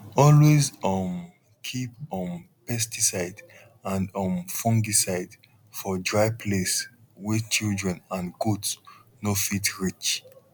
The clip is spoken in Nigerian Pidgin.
always um keep um pesticide and um fungicide for dry place wey children and goat no fit reach